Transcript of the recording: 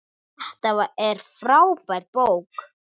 Þetta er frábær bók.